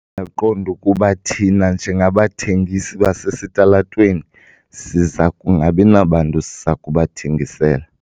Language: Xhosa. Ndaqonda ukuba thina njengabathengisi basesitalatweni siza kungabi nabantu siza kubathengisela.